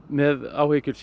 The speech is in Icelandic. með áhyggjur